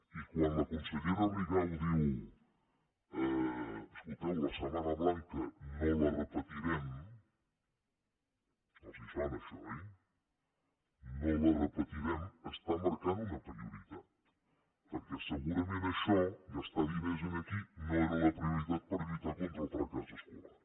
i quan la consellera rigau diu escolteu la setmana blanca no la repetirem els sona això oi no la repetirem està marcant una prioritat perquè segurament això gastar diners aquí no era la prioritat per lluitar contra el fracàs escolar